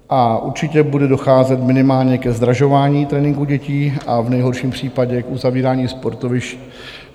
A určitě bude docházet minimálně ke zdražování tréninku dětí a v nejhorším případě k uzavírání sportovišť.